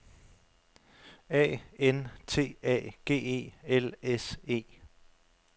A N T A G E L S E